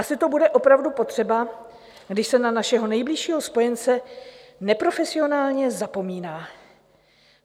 Asi to bude opravdu potřeba, když se na našeho nejbližšího spojence neprofesionálně zapomíná.